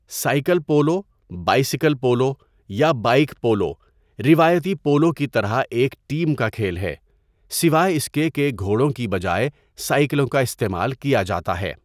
Cycle polo, bicycle polo, یا bike polo روایتی polo کی طرح ایک ٹیم کا کھیل ہے، سوائے اس کے کہ گھوڑوں کی بجائے سائیکلوں کا استعمال کیا جاتا ہے۔